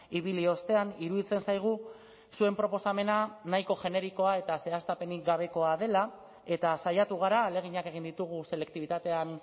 ibili ostean iruditzen zaigu zuen proposamena nahiko generikoa eta zehaztapenik gabekoa dela eta saiatu gara ahaleginak egin ditugu selektibitatean